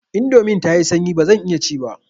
Indomin tayi sanyi bazan iya ci ba.